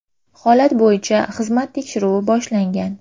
Holat bo‘yicha xizmat tekshiruvi boshlangan .